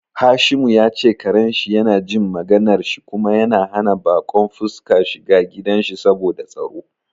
Hashimu ya ce karen shi na jin maganar shi kuma yana hana bakon fuska shiga gidan shi saboda tsaro.